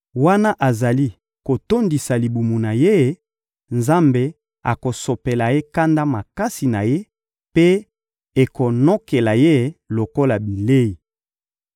Wana azali kotondisa libumu na ye, Nzambe akosopela ye kanda makasi na Ye, mpe ekonokela ye lokola bilei.